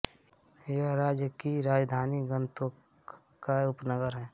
यह राज्य की राजधानी गान्तोक का एक उपनगर है